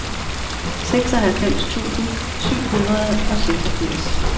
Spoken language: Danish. seksoghalvfems tusind syv hundrede og seksogfirs